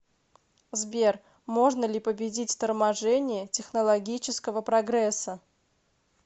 сбер можно ли победить торможение технологического прогресса